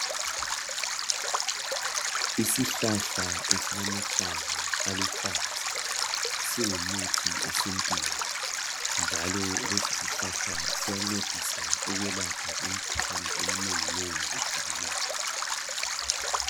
Isihlahla esilamahlamvu aluhlaza singumuthi esintwinj njalo lesisihlahla siyancedisa ukwelapha imikhuhlane eminenginengi ehlukeneyo.